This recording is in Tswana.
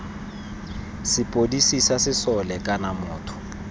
sepodisi sa sesole kana motho